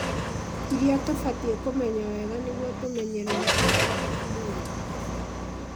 iria tũbatiĩ kũmenya wega nĩguo tũmenyerere ũgima wa mwĩrĩ